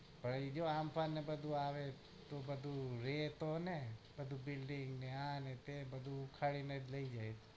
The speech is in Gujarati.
હવે એર્યો હમ્ફામ નગર માંથી આવે ને તો બધું રેત હને બધું printing આને તે ને બધું ઉખાડીને જ લઇ જાય